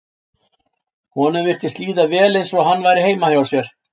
Honum virtist líða vel eins og hann væri heima hjá sér.